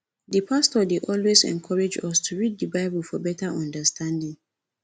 di pastor dey always encourage us to read di bible for better understanding